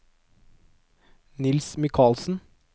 Niels Mikalsen